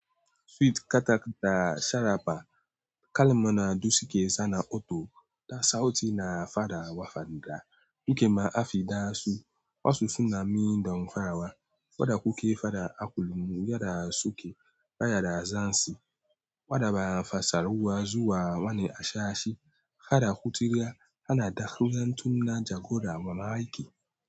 Sweet katakta sharabba, kalma na duk suka sa na otal da sauti na faa wa fadi da, duk ma afi da su, wasu suna mindon farawa, wadda kuke fada a kullum yada suke bayar da zansi, wadda ba fassarwa zuwa wani ashashi, kada ku tirga, hana dakan tunna jagora mamaki.